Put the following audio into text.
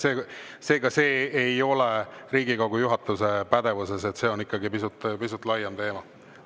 Seega, see ei ole Riigikogu juhatuse pädevuses, vaid ikkagi pisut laiem teema.